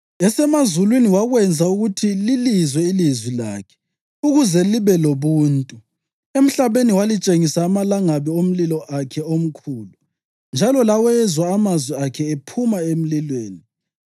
Esemazulwini wakwenza ukuthi lilizwe ilizwi lakhe ukuze libe lobuntu. Emhlabeni walitshengisa amalangabi omlilo akhe omkhulu, njalo lawezwa amazwi akhe ephuma emlilweni.